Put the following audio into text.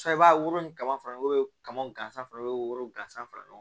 I b'a woro ka fara kaman gansan bɛ woro gansan fara ɲɔgɔn